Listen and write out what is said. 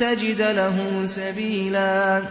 تَجِدَ لَهُ سَبِيلًا